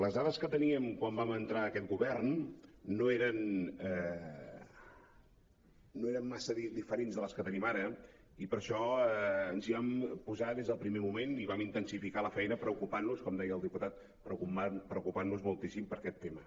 les dades que teníem quan vam entrar aquest govern no eren massa diferents de les que tenim ara i per això ens hi vam posar des del primer moment i vam intensificar la feina preocupant nos com deia el diputat preocupant nos moltíssim per aquest tema